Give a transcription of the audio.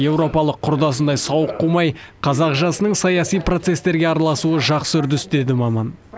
еуропалық құрдасындай сауық қумай қазақ жасының саяси процестерге араласуы жақсы үрдіс деді маман